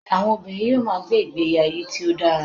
àwọn obìnrin yíò ma gbe igbe ayé tí o dara